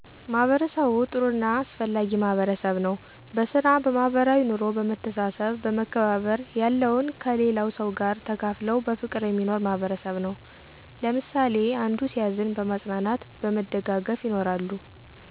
ማህበርሰቡ ጥሩ እና አሰፍላጊ ማህበርሰብ ነው በሰራ በማህበራዊይ ኖሮ በመሰተሰሰብ በመከባባር ያለውን ከሊለው ሰው ጋር ተካፍለው በፍቅር የሚኖር ማህበርሰብ ነው። ለምሳሊ አንዶ ሲዝን በማፅናናት በመደጋገፍ ይኖራሉ።